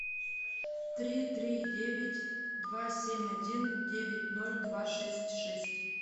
три три девять два семь один девять ноль два шесть шесть